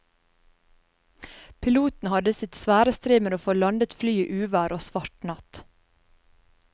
Piloten hadde sitt svare strev med å få landet flyet i uvær og svart natt.